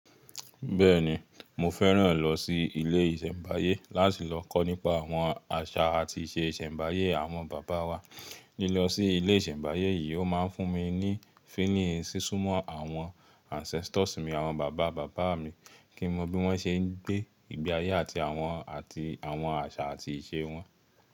Bẹ́ẹ̀ni, mo fẹ́ràn lọ sí ilé ìṣẹ̀mbáyé láti lọ kọ́ nípa àwọn àṣà àti ìṣe ìṣẹ̀mbáyé àwọn bàbá wa. Lílọ sí ilé ìṣẹ̀mbáyé yìí ó máa ń fún mi ní feeling sísún mọ́ àwọn ancestors mi àwọn bàbá bàbá mi kí mo mọ bí wọ́n ṣe ń gbé ìgbé ayé àti àwọn àti àwọn àṣà àti ìṣe wọn.